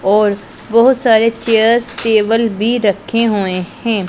और बहुत सारे चेयर्स टेबल भी रखे हुए हैं।